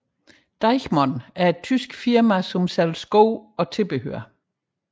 Deichmann er et tysk firma der sælger sko og tilbehør